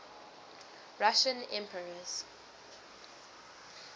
russian emperors